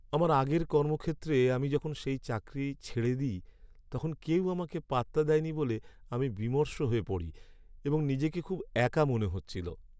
আমার আগের কর্মক্ষেত্রে আমি যখন সেই চাকরি ছেড়ে দিই, তখন কেউ আমাকে পাত্তা দেয়নি বলে আমি বিমর্ষ হয়ে পড়ি এবং নিজেকে খুব একা মনে হচ্ছিল।